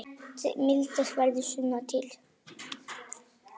Mildast verður sunnan til.